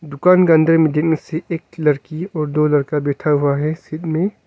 दुकान का अंदर मेंदिखने से एक लड़की और दो लड़का बैठा हुआ है सीट में--